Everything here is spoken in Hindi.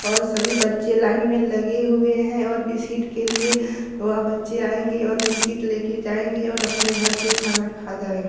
और सभी बच्चे लाइन में लगे हुए है और बिस्कीट के लिए वह बच्चे आएंगे और बिस्कीट ले के जायेंगे और आपने घर पे खाना खा जाए--